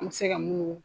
An bɛ se ka munnu